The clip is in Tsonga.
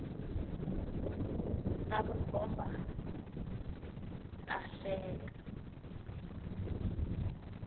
ta vukhomba ta hlekia